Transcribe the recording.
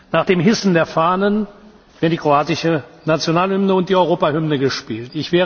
Nach dem Hissen der Fahnen werden die kroatische Nationalhymne und die Europahymne gespielt.